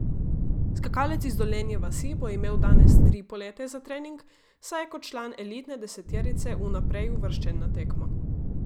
Skakalec iz Dolenje vasi bo imel danes tri polete za trening, saj je kot član elitne deseterice vnaprej uvrščen na tekmo.